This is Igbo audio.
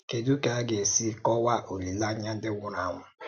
Kèdù ka ị ga-èsì kọ́waa olíleányà ǹdí nwùrù ànwú̀?